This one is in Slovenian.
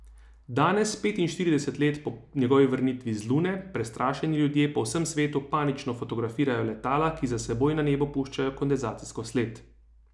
Danes, petinštirideset let po njegovi vrnitvi z Lune, prestrašeni ljudje po vsem svetu panično fotografirajo letala, ki za seboj na nebu puščajo kondenzacijsko sled.